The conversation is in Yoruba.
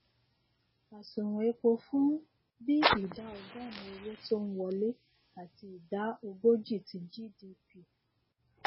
àsùnwòn epo fún bi ìdá ọgọrin owó tó ń wọlé àti ìdá ogójì ti gdp